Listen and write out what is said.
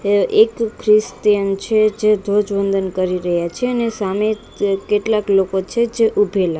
તે એક ક્રિસ્તીયન છે જે ધ્વજવંદન કરી રહ્યા છે અને સામે ત કેટલાક લોકો છે જે ઉભેલા--